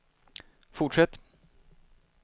fortsätt